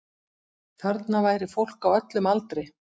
Þarna væri fólk á öllum aldri